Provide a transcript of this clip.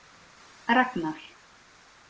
Ragnar